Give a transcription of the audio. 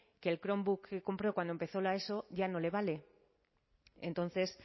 que el chromebook que compré cuando empezó la eso ya no le vale entonces